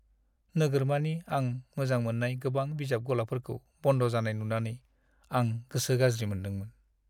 नोगोरमानि आं मोजां मोन्नाय गोबां बिजाब गलाफोरखौ बन्द जानाय नुंनानै आं गोसो गाज्रि मोनदोंमोन।